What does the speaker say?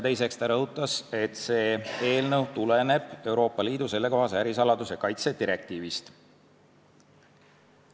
Teiseks rõhutas ta, et eelnõu tuleneb Euroopa Liidu sellekohasest ärisaladuse kaitse direktiivist.